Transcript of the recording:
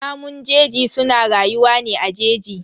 Namun jeji suna rayuwa ne a jeji.